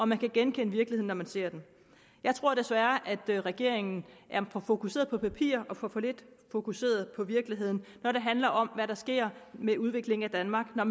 man kan genkende virkeligheden når man ser den jeg tror desværre at regeringen er for fokuseret på papir og for lidt fokuseret på virkeligheden når det handler om hvad der sker med udviklingen af danmark når